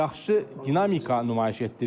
Yaxşı dinamika nümayiş etdirir.